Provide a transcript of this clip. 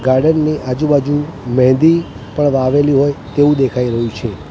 Garden ની આજુ બાજુ મ્હેંદી પણ વાવેલી હોય તેવુ દેખાય રહ્યુ છે.